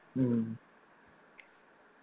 ഉം